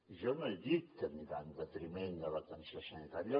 jo no he dit que anirà en detriment de l’atenció sanitària